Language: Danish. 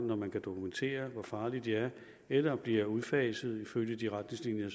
når man kan dokumentere hvor farlige de er eller bliver udfaset ifølge de retningslinjer